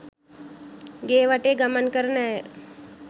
ගේ වටේ ගමන් කරන ඇය